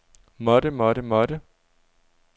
måtte måtte måtte